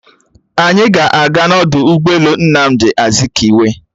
Anyị a ga-aga n'ọdụ ụgbọelu Nnamdi Azikiwe?